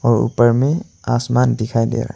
और ऊपर में आसमान दिखाई दे रहा है।